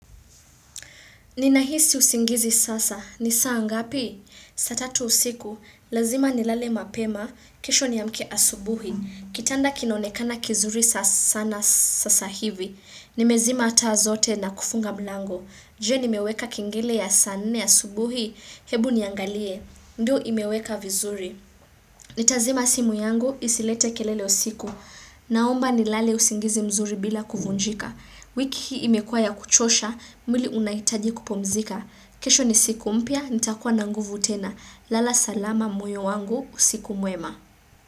Ninahisi usingizi sasa. Ni saa ngapi? Saa tatu usiku. Lazima nilale mapema. Kesho niamke asubuhi. Kitanda kinaonekana kizuri sana sasa hivi. Nimezima taa zote na kufunga mlango. Je nimeweka kengele ya saa nne asubuhi. Hebu niangalie. Ndio imeweka vizuri. Nitazima simu yangu, isilete kelele usiku. Naomba nilale usingizi mzuri bila kuvunjika. Wiki hii imekuwa ya kuchosha, mwili unahitaji kupumzika. Kesho ni siku mpya, nitakuwa na nguvu tena. Lala salama moyo wangu, usiku mwema.